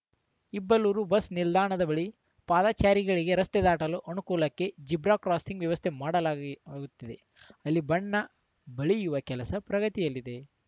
Ibbalur bus ನಿಲ್ದಾಣದ ಬಳಿ ಪಾದಚಾರಿಗಳಿಗೆ ರಸ್ತೆ ದಾಟಲು ಅನುಕೂಲಕ್ಕೆ ಜೀಬ್ರಾ ಕ್ರಾಸಿಂಗ್‌ ವ್ಯವಸ್ಥೆ ಮಾಡಲಾಗಿ ಲಾಗುತ್ತದೆ ಅಲ್ಲಿ ಬಣ್ಣ ಬಳಿಯುವ ಕೆಲಸ ಪ್ರಗತಿಯಲ್ಲಿದೆ